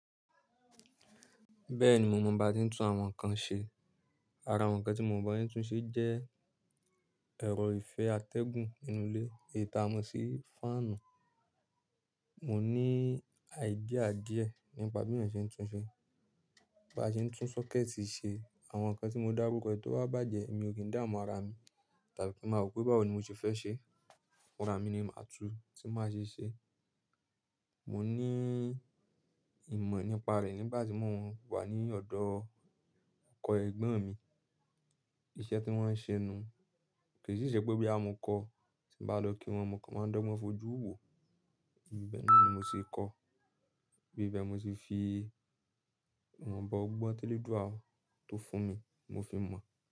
Bẹ́ẹ̀ni mo mọ bá ti ń tún àwọn nǹkan ṣe. Ara nǹkan tí mo mọ̀ bí wọ́n ń tún ṣe jẹ́ ẹ̀rọ ìfé atẹ́gùn inú ilé, èyí tàá mọ̀ sí fáànù. Mo ní ídeà díẹ̀ nípa bí mose tún ṣe. Bí a bá ṣe ń tún sọ́kẹ́ẹ̀tì ṣe, àwọn nǹkan tí mo dárúkọ ẹ tó bá bàjẹ́ mi ò kì í dáamọ́ ara mi, tàbí kí máa rò pé báwo ni mo ṣe fẹ́ ṣe. Fùn ara mi ni màá tún, tí màá ṣi ṣẹ. Mo ní ìmọ̀ nípa rẹ̀ nígbà tí mo wà ní ọ̀dọ̀ ọkọ ẹ̀gbọ́n mi. Iṣẹ́ tí wọ́n ń ṣe ni. Kì í ṣe ìṣè pé boya mo kọ, ti bá lọ kí wọn, mọn kọ̀ máa dọ́gboùn fojú wò. Bẹ́ẹ̀ ní mo ṣe kọ́, bí i bẹ́ẹ̀ mo ṣe fi ìwọ̀nba ọgbọ́n télédù a tó fún mi, mo fi mọ̀